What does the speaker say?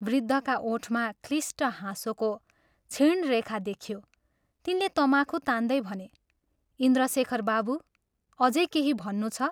वृद्धका ओठमा क्लिष्ट हाँसोको क्षीण रेखा देखियो तिनले तमाखु तान्दै भने, "इन्द्रशेखर बाबू, अझै केही भन्नु छ?